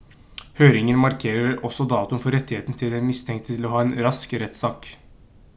høringen markerer også datoen for rettigheten til den mistenkte til å ha en rask rettssak